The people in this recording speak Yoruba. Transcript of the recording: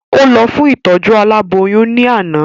Ó lọ fún ìtọ́jú aboyún ní àná